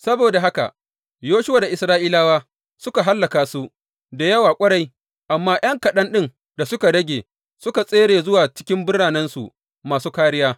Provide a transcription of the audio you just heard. Saboda haka Yoshuwa da Isra’ilawa suka hallaka su da yawa ƙwarai, amma ’yan kaɗan ɗin da suka rage suka tsere zuwa cikin biranensu masu kāriya.